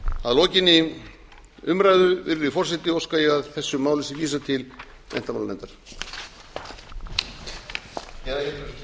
að lokinni umræðu virðulegi forseti óska ég að þessu máli sé vísað til menntmálanefndar